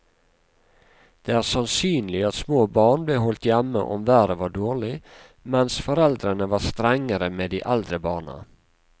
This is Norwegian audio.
Det er sannsynlig at små barn ble holdt hjemme om været var dårlig, mens foreldrene var strengere med de eldre barna.